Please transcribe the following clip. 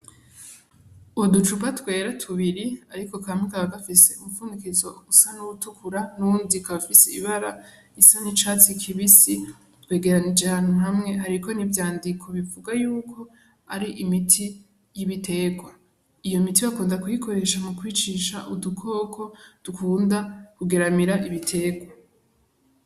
Uducuba twera tubiri, ariko kame kaba gafise umupfundikizo usa n'uwutukura n'uwundika bafise ibara isa nicatsi kibisi twegeranije hantu hamwe hariko nivyandiko bivuga yuko ari imiti y'ibiterwa iyo miti bakunda kuyikoresha mu kwicisha udukoko dukura unda kugeramira ibiteko.